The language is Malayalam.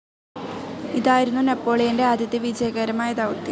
ഇതായിരുന്നു നെപ്പോളിയൻ്റെ ആദ്യത്തെ വിജയകരമായ ദൗത്യം.